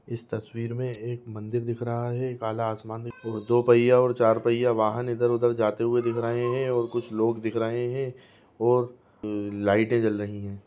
इस तस्वीर मे एक मंदिर दिख रहा है एक काला आसमान दो पहिया और चार पहिया वाहन इधर उधर जाते हुये दिख रहे हैं और कुछ लोग दिख रहे हैं और लाइटें जल रही है।